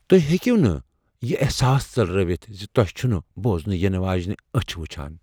تُہۍ ہیکو نہٕ یہِ احساس ژلرٲوِتھ زِ تۄہہِ چھِ نہٕ بوزنہٕ یِنہٕ واجینہِ اچھِ وُچھان ۔